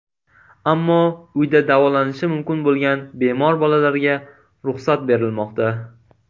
Ammo uyda davolanishi mumkin bo‘lgan bemor bolalarga ruxsat berilmoqda.